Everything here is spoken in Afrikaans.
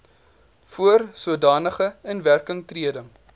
voor sodanige inwerkingtreding